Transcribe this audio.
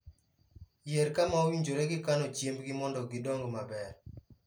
Yier kama owinjore gi kano chiembgi mondo gidong maber.